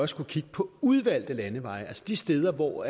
skulle kigge på udvalgte landeveje altså de steder hvor